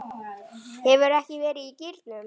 Hefurðu ekki verið í gírnum?